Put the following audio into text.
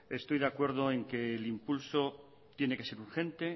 estoy de acuerdo en que el impulso tiene que ser urgente